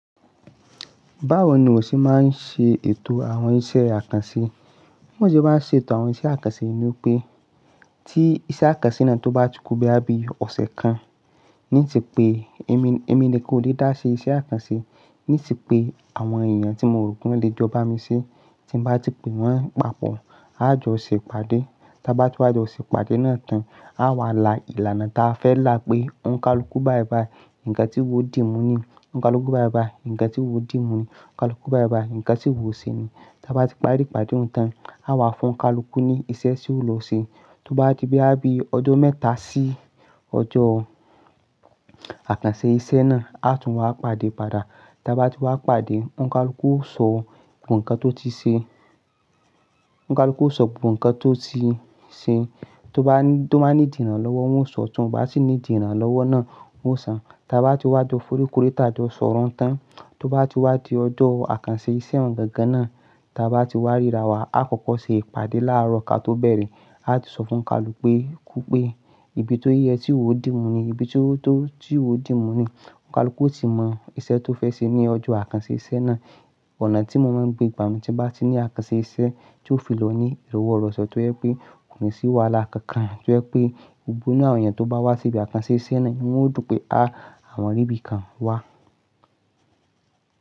Báwo ni wọ́n ṣé máa ń ṣe ètò àwọn iṣẹ́ àkànṣe? Bí wọ́n ṣe bá ń ṣe ètò àwọn iṣẹ́ àkànṣe ni pé tí iṣẹ́ àkànṣe náà tó bá ti kún boya bí ọ̀sẹ̀ kan ní ti pé èmi, èmi ni kan ó lè dáṣẹ́ iṣẹ́ àkànṣe. Ní ti pé àwọn èèyàn tí mo rò pé won lè jọ bá mi ṣẹ́ tí n bá ti pè wọ́n papọ̀. A jọ ṣè pàdé, tí a bá ti wá jọ ṣè pàdé náà tán, a wà lá ìlànà ta fẹ́ là pé Ọnkalú kú báyi báyì, ǹkan tí iwò ó dì mú ni? Ọnkalú kú báì báì, ǹkẹ́ tí wò dì mú ni? Ọnkalú kú báyì báyì, ǹkan tí iwò ó ṣe ni? Ta bá ti parí ìpàdé hun tán, a wà fún Ọnkalú ní iṣẹ́ tí ó lọ ṣe. Tó bá di boyá bí ọjọ́ mẹ́ta sí ọjọ́ àkànṣe iṣẹ́ náà, a tún wá pàdé padà. Ta bá ti wá pàdé, Ọnkalú ó sọ gbogbo ǹkan tó ti ṣe, Ọnkalú ó sọ gbogbo ǹkan tó ti ṣe. Tó bá ní, tó bá níìdi ìranlọ́wọ́, wón sọ, tó ń bá sì níìdi ìranlọ́wọ́ náà, wón sọ. Ta bá ti wá jọ forí kóri tà jọ́ sọ̀rọ̀ hún tán, tó bá ti wá di ọjọ́ àkànṣe iṣẹ́ hún gangan náà, ta bá ti wá ríra wa, a kọ́kọ́ ṣe ìpàdé láàárọ̀ ká tó bẹ̀rẹ̀. A ti sọ fún Ọnkalú pé, kú pé ìbí tó yẹ tí iwò ó dì mú nìyí, ìbí tó, tó, tí iwò ó dì mú nìyí Ọnkalú ó ti mọ iṣẹ́ tó fẹ́ ṣe ní ọjọ́ àkànṣe iṣẹ́ náà. Ọ̀nà tí mo máa ń gbe gbà nù, tí bá ti ní àkànṣe iṣẹ́ tí ó fi lọ ní ìrọ̀wọ́-rọ̀se tó jẹ́ pé kò ní sì wà lá kankan, tó jẹ́ pé gbogbo inú àwọn èèyàn tó bá wá síbi àkànṣe iṣẹ́ náà inú won yóò dùn pé, àwọn rí bí i kan wá.